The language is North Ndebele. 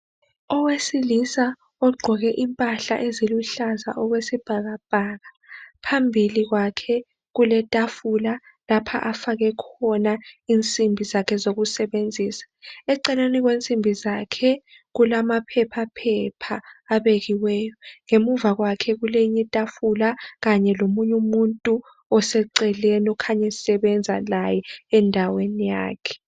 Owesilisa ogqoke impala eziluhlaza okwesibhakabhaka. Phambili kwakhe kuletafula. Lapha afake khona insimbi zakhe, zokusebenzisa. Eceleni kwensimbi zakhe, kulamaphephaphepha, abekiweyo. Ngemuva kwakhe kulenye itafula, kanye lomunye umuntu oseceleni. Akhanya esebenza laye endaweni yakhe.